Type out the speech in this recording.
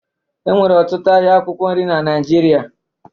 Enwere ọtụtụ ahịa akwụkwọ nri na Naịjirịa